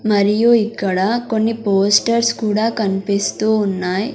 మరియు ఇక్కడ కొన్ని పోస్టర్స్ కూడా కన్పిస్తూ ఉన్నాయ్.